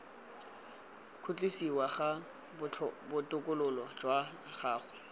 khutlisiwa ga botokololo jwa gago